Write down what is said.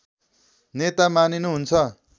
नेता मानिनु हुन्छ